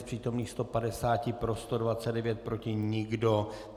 Z přítomných 150 pro 129, proti nikdo.